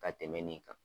Ka tɛmɛ nin kan